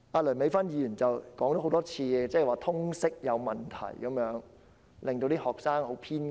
梁美芬議員多次指出通識科有問題，令學生變得很偏激。